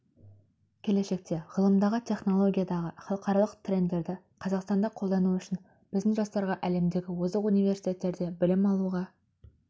келешекте ғылымдағы технологиядағы халықаралық трендерді қазақстанда қолдану үшін біздің жастарға әлемдегі озық университеттерде білім алуға